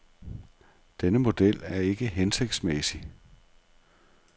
Denne model er ikke hensigtsmæssig.